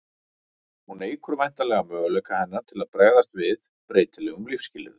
hún eykur væntanlega möguleika hennar til að bregðast við breytilegum lífsskilyrðum